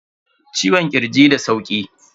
Ciwon kirji da sauki.